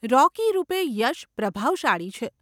રોકી રૂપે યશ પ્રભાવશાળી છે.